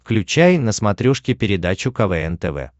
включай на смотрешке передачу квн тв